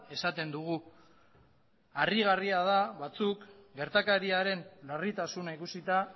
esaten dugu harrigarria da batzuk gertakariaren larritasuna ikusita